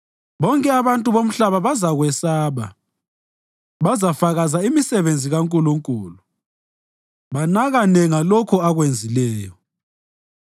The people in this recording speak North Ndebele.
Bonke abantu bomhlaba bazakwesaba; bazafakaza imisebenzi kaNkulunkulu banakane ngalokho akwenzileyo.